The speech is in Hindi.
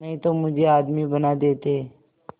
नहीं तो मुझे आदमी बना देते